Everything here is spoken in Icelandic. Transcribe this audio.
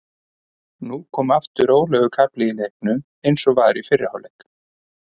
Nú kom aftur rólegur kafli í leiknum eins og var í fyrri hálfleik.